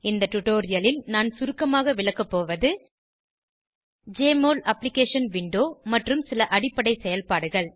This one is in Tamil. இந்த டுடோரியலில் நான் சுருக்கமாக விளக்கப்போவது ஜெஎம்ஒஎல் அப்ளிகேஷன் விண்டோ மற்றும் சில அடிப்படை செயல்பாடுகள்